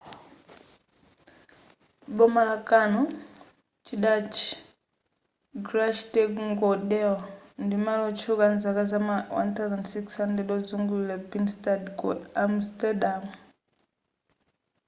boma la canal chidatchi: grachtengordel ndi malo otchuka amzaka za ma 1600 ozungulira binnestad ku amsterdam